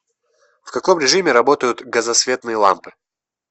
в каком режиме работают газосветные лампы